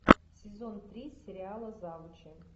сезон три сериала завучи